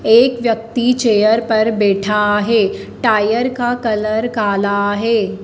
एक व्यक्ति चेयर पर बैठा है। टायर का कलर कल है।